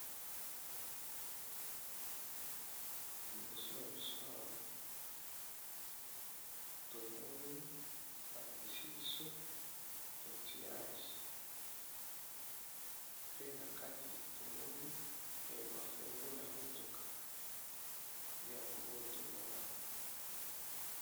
Liboso na biso awa, tomoni balakisi biso otiage pe na kati tomoni ba fungula ya motuka nde yango oyo tomona awa.